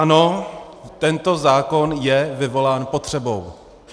Ano, tento zákon je vyvolán potřebou.